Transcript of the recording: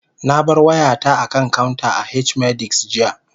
Na bar wayata a kan counter a H-medics, jiya